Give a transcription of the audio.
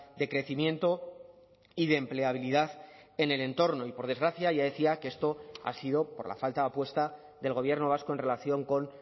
de crecimiento y de empleabilidad en el entorno y por desgracia ya decía que esto ha sido por la falta de apuesta del gobierno vasco en relación con